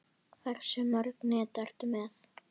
Hversu mörg net ertu með?